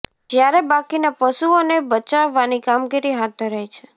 જ્યારે બાકીના પશુઓને બચાવવાની કામગીરી હાથ ધરાઈ છે